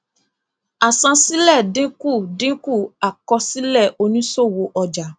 àsansílẹ dínkù dínkù àkọsílẹ òníṣòwò ọjà